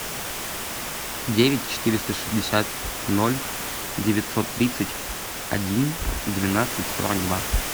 девять четыреста шестьдесят ноль девятьсот тридцать один двенадцать сорок два